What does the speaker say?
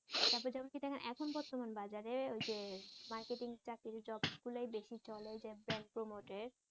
তারপর যেমন কি দেখেন এখন বর্তমান বাজারে ঐযে মার্কেটিং চাকরির যে জবগুলাই বেশি চলে ঐযে জব প্রমোটের